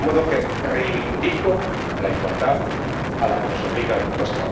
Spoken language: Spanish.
De modo que reivindico la igualdad a la que nos obligan los